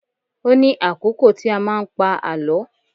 Ó ní àkókò tí a máa ń pa àlọ́